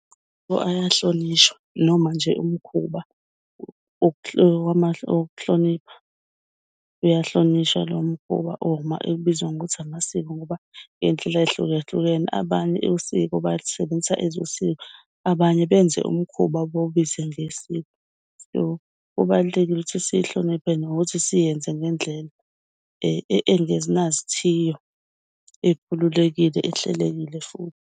So, ayahlonishwa noma nje imikhuba wokuhlonipha uyahlonishwa lowo mkhuba uma ebizwa ngokuthi amasiko, ngoba iy'ndlela ey'hlukehlukene. Abanye usiko balusebenzisa, abanye benze umkhuba bawubize ngesiko. So, kubalulekile ukuthi siyihloniphe nokuthi siyenze ngendlela engenazithiyo ekhululekile, ehlelekile futhi.